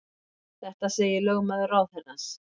Þetta segir lögmaður ráðherrans